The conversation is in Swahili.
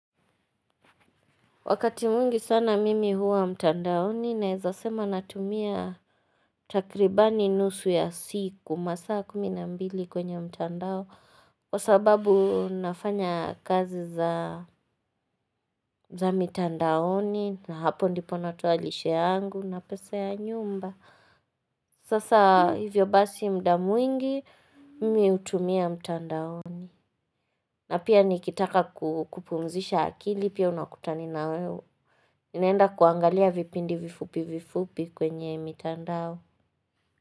Wakati mwingi sana mimi huwa mtandaoni nawezasema natumia takribani nusu ya siku masaa kumi na mbili kwenye mtandao Kwa sababu nafanya kazi za mtandaoni na hapo ndipo natoa lishe yangu na pesa ya nyumba Sasa hivyo basi mda mwingi mimi hutumia mtandaoni na pia nikitaka kupumzisha akili pia unakutani na we naenda kuangalia vipindi vifupi vifupi kwenye mitandao.